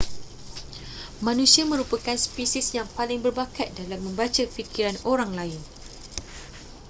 manusia merupakan spesies yang paling berbakat dalam membaca fikiran orang lain